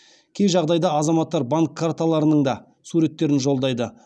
кей жағдайда азаматтар банк карталарының да суреттерін жолдайды